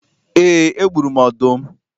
Ee, egburu m ọdụm